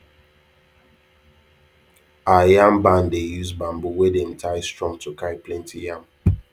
our yam barn dey use bamboo wey dem tie strong to carry plenty yam